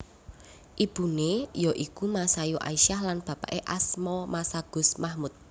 Ibuné ya iku Masayu Aisyah lan bapaké asma Masagus Mahmud